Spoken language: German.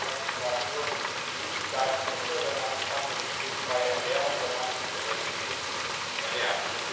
Wenn ich den ganzen Tag nur Süßigkeiten esse, dann habe ich zwar auch eine glutenfreie Ernährung, habe mich aber nicht gesund ernährt.